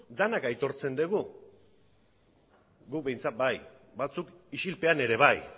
denok aitortzen dugu guk behintzat bai batzuk isilpean ere bai